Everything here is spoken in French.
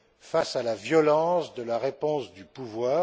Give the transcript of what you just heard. face à la violence de la réponse du pouvoir.